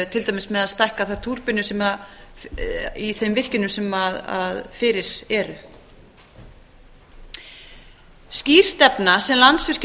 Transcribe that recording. til dæmis með að stækka þar túrbínu í þeim virkjunum sem fyrir eru skýr stefna sem landsvirkjun